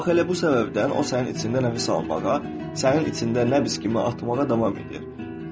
Bax elə bu səbəbdən o sənin içində nəfəs almağa, sənin içində nəbz kimi atmağa davam edir.